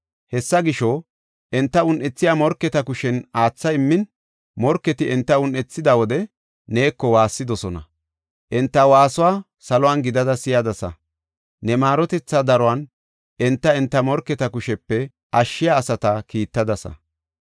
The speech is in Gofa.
Hessa gisho, enta un7ethiya morketa kushen aatha immin, morketi enta un7ethida wode neeko waassidosona. Enta waasuwa salon gidada si7adasa; ne maarotethaa daruwan enta, enta morketa kushepe ashshiya asata kiittadasa.